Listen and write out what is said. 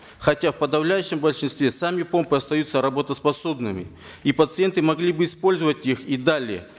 хотя в подавляющем большинстве сами помпы остаются работоспособными и пациенты могли бы использовать их и далее